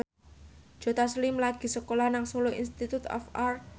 Joe Taslim lagi sekolah nang Solo Institute of Art